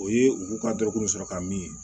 O ye u k'u ka dɔrɔkuru sɔrɔ ka min